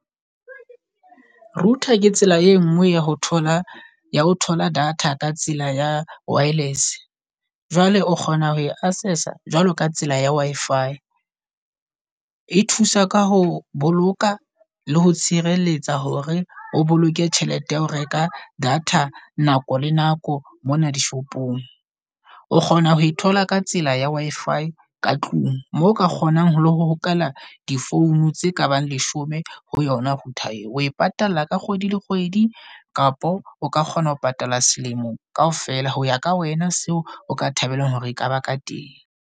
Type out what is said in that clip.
Router ke tsela e nngwe ya ho thola ya ho thola data ka tsela ya wireless. Jwale o kgona ho e assess-a jwalo ka tsela ya Wi-Fi. E thusa ka ho boloka le ho tshireletsa hore o boloke tjhelete ya ho reka data nako le nako mona di-shop-ong. O kgona ho e thola ka tsela ya Wi-Fi ka tlung. Moo o ka kgonang ho le ho hokela di-phone tse kabang leshome ho yona router eo. Oe patalla ka kgwedi le kgwedi, kapo o ka kgona ho patala selemo kaofela. Ho ya ka wena seo o ka thabelang hore ekaba ka teng.